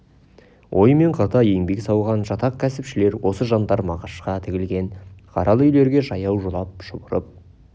ой мен қырда еңбек сауған жатақ кәсіпшілер осы жандар мағашқа тігілген қаралы үйлерге жаяу жылап шұбырып